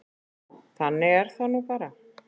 Þannig er það nú bara.